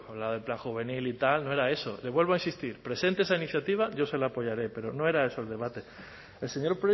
habla del plan juvenil y tal no era eso le vuelvo a insistir presente esa iniciativa yo se la apoyaré pero no era eso el debate el señor